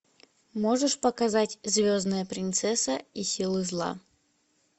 можешь показать звездная принцесса и силы зла